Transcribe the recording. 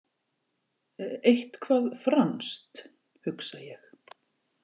Eitthvað franskt, hugsa ég.